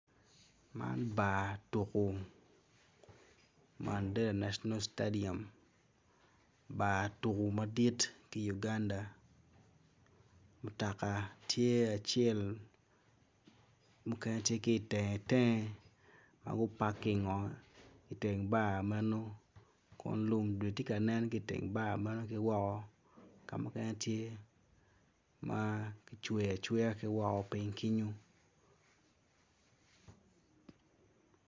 Man bar tuko stediam bar tuko madit ki i Uganda mutoka tye acel mukene tye ki i tenge tenge ma gitye gupaking i teng bar kun gudi tye ka nen ki i tenge